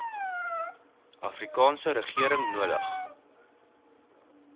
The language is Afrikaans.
afrikaanse regering nodig